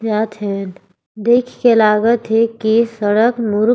जात हे देख के लागत हे कि सड़क मुरुक--